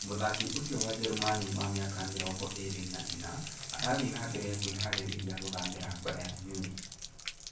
Mũthaki ũcio wa jerumani wa mĩaka mĩrongo ĩĩrĩ na ĩna arathiĩ na mbere na kwĩharĩria gũthamĩra Bayern Munich